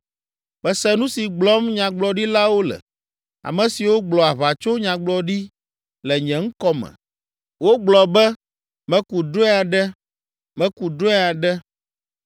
“Mese nu si gblɔm nyagblɔɖilawo le, ame siwo gblɔ aʋatsonyagblɔɖi le nye ŋkɔ me. Wogblɔ be, ‘Meku drɔ̃e aɖe! Meku drɔ̃e aɖe.’